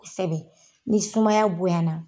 Kosɛbɛ ni sumaya bonyana.